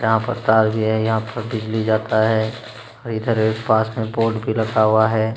यहाँ पर तार भी हैं। यहाँ पर बिजली जाता है और इधर पास में बोर्ड भी रखा हुआ है।